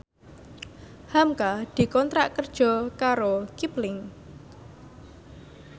hamka dikontrak kerja karo Kipling